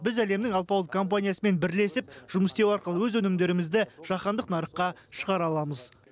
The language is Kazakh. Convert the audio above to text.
біз әлемнің алпауыт компаниясымен бірлесіп жұмыс істеу арқылы өз өнімдерімізді жаһандық нарыққа шығара аламыз